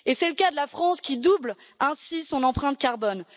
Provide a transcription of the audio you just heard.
C'est le cas de la France qui double ainsi son empreinte carbone.